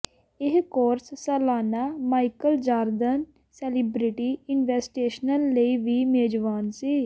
ਇਹ ਕੋਰਸ ਸਾਲਾਨਾ Michael Jordan celebrity invitational ਲਈ ਵੀ ਮੇਜ਼ਬਾਨ ਸੀ